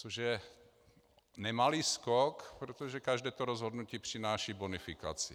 Což je nemalý skok, protože každé to rozhodnutí přináší bonifikaci.